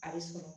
A bɛ sɔrɔ